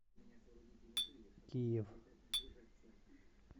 киев